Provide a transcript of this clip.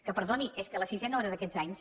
que perdoni és que la sisena hora d’aquests anys